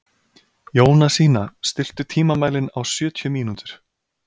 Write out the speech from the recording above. Jónasína, stilltu tímamælinn á sjötíu mínútur.